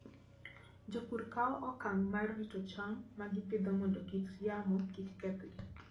Jopur kawo okang' mar rito cham ma gipidho mondo kit yamo kik kethgi.